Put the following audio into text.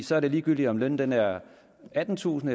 så er det ligegyldigt om lønnen er attentusind